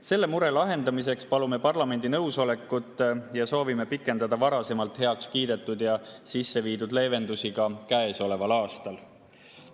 Selle mure lahendamiseks palume parlamendi nõusolekut ja soovime pikendada varasemalt heakskiidetud ja sisseviidud leevendusi ka käesoleval aastal.